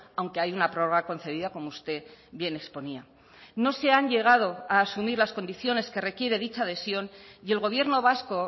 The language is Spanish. aunque hay una prórroga concedida como usted bien exponía no se han llegado a asumir las condiciones que requiere dicha adhesión y el gobierno vasco